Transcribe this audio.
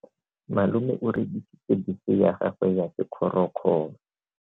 Malome o rekisitse bese ya gagwe ya sekgorokgoro.